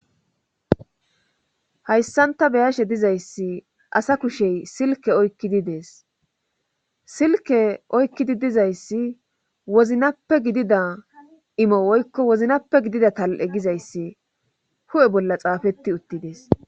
Hayssan ta beyashe dizayssi asa kushey silke oykkidi dees silke oykkidi dizayssi woznappe gidida imo woykko woznappe gidida tal7e gizayssi hu7e bolla xaafetti uttidees.